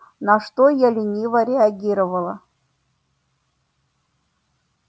на что я лениво реагировала